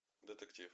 детектив